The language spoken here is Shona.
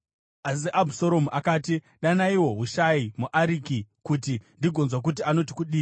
Asi Abhusaromu akati, “Danaiwo Hushai muAriki, kuti tigonzwa kuti anoti kudii.”